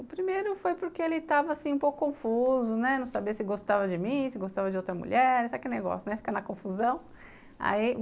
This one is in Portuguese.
O primeiro foi porque ele estava, assim, um pouco confuso, né, não sabia se gostava de mim, se gostava de outra mulher, sabe aquele negócio, né, fica na confusão. Aí